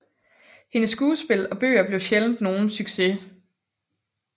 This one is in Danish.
Hendes skuespil og bøger blev sjældent nogle succes